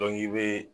i bɛ